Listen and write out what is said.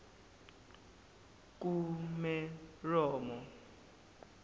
kumeromo